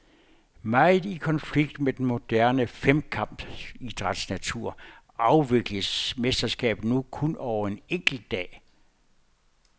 Meget i konflikt med den moderne femkampidræts natur afvikles mesterskabet nu kun over en enkelt dag.